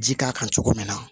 Ji k'a kan cogo min na